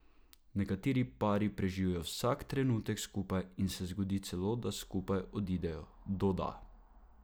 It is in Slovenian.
Nekateri pari preživijo vsak trenutek skupaj in se zgodi celo, da skupaj odidejo, doda.